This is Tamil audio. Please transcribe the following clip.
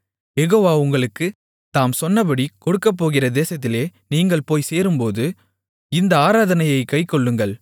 யெகோவா உங்களுக்குத் தாம் சொன்னபடி கொடுக்கப்போகிற தேசத்திலே நீங்கள் போய்ச் சேரும்போது இந்த ஆராதனையைக் கைக்கொள்ளுங்கள்